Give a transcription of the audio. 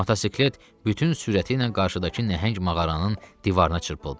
Motosiklet bütün sürəti ilə qarşıdakı nəhəng mağaranın divarına çırpıldı.